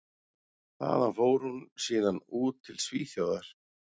Þaðan fór hún síðan út til Svíþjóðar.